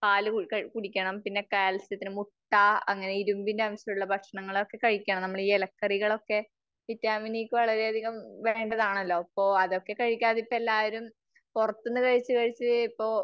പാല് കുടിക്കണം. പിന്നെ കാൽസ്യത്തിന് മുട്ട അങ്ങനെ ഇരുമ്പിന്റെ അംശമുള്ള ഭക്ഷണങ്ങളൊക്കെ കഴിക്കണം. നമ്മൾ ഈ ഇലകറികളൊക്കെ വിറ്റാമിന് ഇയൊക്കെ വളരെ അധികം വേണ്ടത് ആണല്ലോ. അപ്പോ അതൊക്കെ കഴിക്കാതിപ്പോ, എല്ലാവരും പുറത്തുന്നു കഴിച്ചു കഴിച്ചു ഇപ്പോ